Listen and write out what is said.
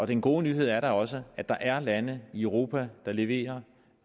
den gode nyhed er da også at der er lande i europa der leverer